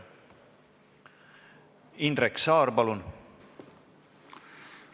Indrek Saar, palun!